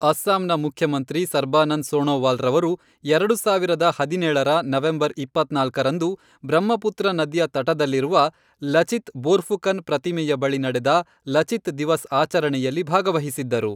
ಅಸ್ಸಾಂನ ಮುಖ್ಯಮಂತ್ರಿ ಸರ್ಬಾನಂದ್ ಸೋಣೋವಾಲ್ರವರು, ಎರಡು ಸಾವಿರದ ಹದಿನೇಳರ ನವೆಂಬರ್ ಇಪ್ಪತ್ನಾಲ್ಕರಂದು, ಬ್ರಹ್ಮಪುತ್ರ ನದಿಯ ತಟದಲ್ಲಿರುವ ಲಚಿತ್ ಬೋರ್ಫುಕನ್ ಪ್ರತಿಮೆಯ ಬಳಿ ನಡೆದ ಲಚಿತ್ ದಿವಸ್ ಆಚರಣೆಯಲ್ಲಿ ಭಾಗವಹಿಸಿದ್ದರು.